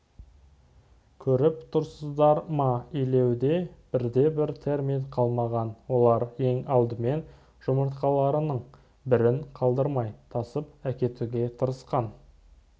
көріп тұрсыздар ма илеуде бірде-бір термит қалмаған олар ең алдымен жұмыртқаларының бірін қалдырмай тасып әкетуге тырысқан